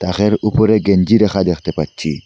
ব়্যাখের উপরে গেঞ্জি রাখা দেখতে পাচ্ছি।